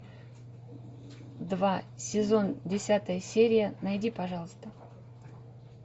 два сезон десятая серия найди пожалуйста